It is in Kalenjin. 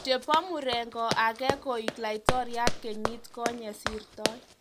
Chebo murengo ake koek Laitoriat kenyit konyei sirtoi.